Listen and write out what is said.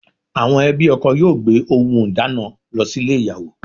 Àwọn ẹbí ọkọ yóò gbé ohùn ìdána lọ sílè ìyàwó